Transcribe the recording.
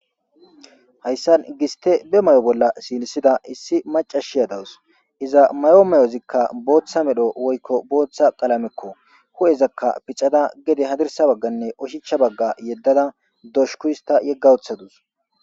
Hayssan giste be may'o bolla siilisida issi maca shiyadawus iza mayo mayozikka booththa medho woykko booththa qalamekko hu'ezakka picada gede hadirsa bagganne oshichcha bagga yeddada doshuku hista yegga wuththadus.